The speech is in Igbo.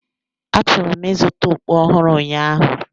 Achọrọ m ịzụta okpu ọhụrụ ụnyaahụ.